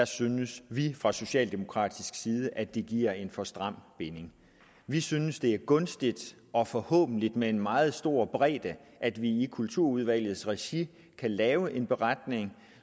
synes vi fra socialdemokratisk side at det giver en for stram binding vi synes at det er gunstigt og forhåbentlig med en meget stor bredde at vi i kulturudvalgets regi kan lave en beretning